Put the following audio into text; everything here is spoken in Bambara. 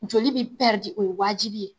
Joli bi o waati de.